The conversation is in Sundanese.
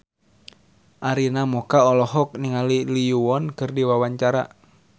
Arina Mocca olohok ningali Lee Yo Won keur diwawancara